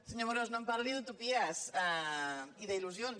senyor amorós no em parli d’utopies ni d’il·lusions